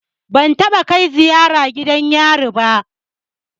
Ban taɓa kai ziyara gidan yari ba.